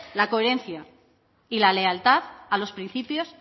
la coherencia y la lealtad a los principios